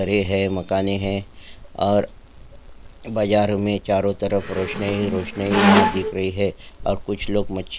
और बाजार में चारों तरफ रोशनी ही रोशनी यहाँ दिख रही है और कुछ लोग मच्छीया के भाव पूछने के लिए तत्पर है धन्यवाद।